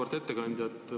Auväärt ettekandja!